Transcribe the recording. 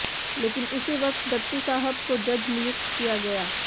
लेकिन उसी वक्त दत्तू साहब को जज नियुक्त किया गया